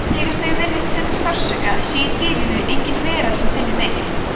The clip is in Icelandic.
þegar þau virðist finna sársauka sé í dýrinu engin vera sem finni neitt